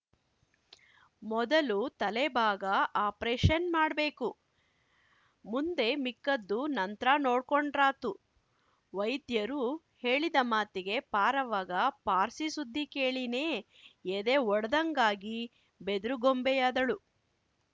ಮೊದಲು ತಲೆಭಾಗ ಆಪ್ರೇಶನ್ ಮಾಡ್ ಬೇಕು ಮುಂದೆ ಮಿಕ್ಕದ್ದು ನಂತ್ರ ನೊಡ್ಕೊಂಡ್ರಾತುವೈದ್ಯರು ಹೇಳಿದ ಮಾತಿಗೆ ಪಾರವ್ವಗ ಪಾರ್ಸಿ ಸುದ್ಧಿ ಕೇಳಿನೇ ಎದೆ ಒಡೆದಂಗ್ಹಾಗಿ ಬೆದ್ರುಗೊಂಬೆಯಾದಳು